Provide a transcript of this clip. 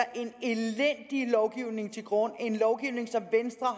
en elendig lovgivning til grund en lovgivning som er